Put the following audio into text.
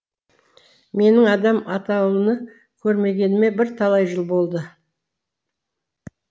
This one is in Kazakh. менің адам атаулыны көрмегеніме бірталай жыл болды